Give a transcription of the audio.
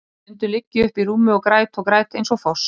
Stundum ligg ég uppi í rúmi og græt og græt eins og foss.